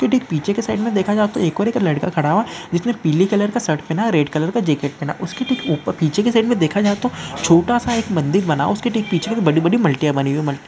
पीछे के साइड में देखा जाए तो एक और एक लड़का खड़ा हुआ। जिसमें पीले कलर का शर्ट पेना रेड कलर का जैकेट पेहेना हूआ। ऊसके ठिक ऊपर पीछे की साइड में देखा जाए तो छोटा सा एक मंदिर बना। उसके पीछे के बड़ी बड़ी मालटिया वनि हूइ है। मालटिया --